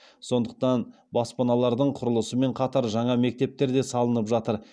сондықтан баспаналардың құрылысымен қатар жаңа мектептер де салынып жатыр